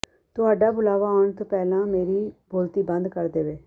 ਤੁਹਾਡਾ ਬੁਲਾਵਾ ਆਉਣ ਤੋਂ ਪਹਿਲਾਂ ਮੇਰੀ ਬੋਲਤੀ ਬੰਦ ਕਰ ਦੇਵੇ